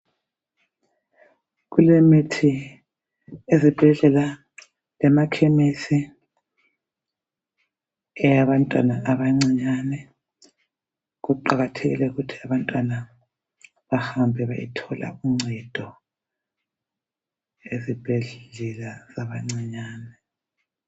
Kulemithi ezibhedlela lemakhemisi eyabantwana abancinyane. Kuqakathekile ukuthi abantwana bahambe bayethola uncedo ezibhedlela zabancinyane.